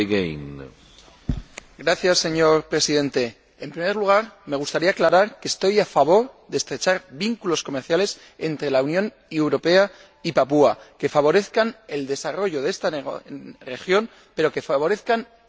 Señor Presidente, en primer lugar, me gustaría aclarar que estoy a favor de estrechar vínculos comerciales entre la Unión Europea y Papúa Nueva Guinea que favorezcan el desarrollo de esta región, pero que favorezcan un desarrollo sostenible.